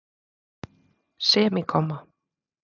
semíkomma